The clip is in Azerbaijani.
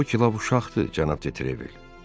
Bu balaca uşaqdır cənab de Trevil.